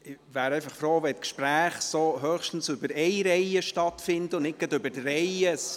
Ich wäre froh, wenn Gespräche höchstens über eine Reihe hinweg stattfinden würden und nicht gleich über drei Reihen.